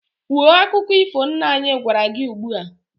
Kwuo akụkọ ifo nna anyị gwara gị ugbu a!